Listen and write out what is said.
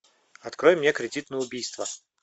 открой мне кредит на убийство